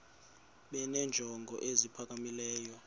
benenjongo eziphakamileyo kunezi